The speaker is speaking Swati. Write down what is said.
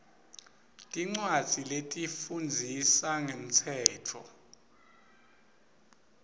tincwadzi letifundzisa ngemtsetfo